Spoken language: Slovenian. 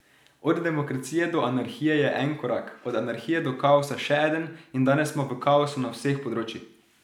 Od demokracije do anarhije je en korak, od anarhije do kaosa še eden in danes smo v kaosu na vseh področjih.